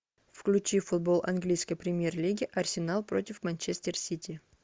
включи футбол английской премьер лиги арсенал против манчестер сити